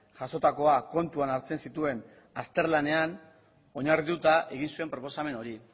jasotakoa kontuan hartzen zituen azterlanean oinarrituta egin zuen proposamen hori